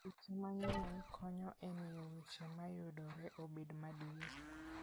Weche manyien konyo e miyo weche ma yudore obed madier.